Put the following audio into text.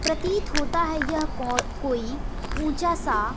प्रतीत होता है यह को कोई ऊंचा सा--